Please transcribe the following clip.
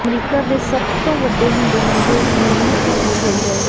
America ਦੇ ਸਭ ਤੋਂ ਵੱਡੇ ਹਿੰਦੂ ਮੰਦਿਰ ਦੀ ਮਨਮੋਹਕ ਤਸਵੀਰ ਹੋਈ ਵਾਇਰਲ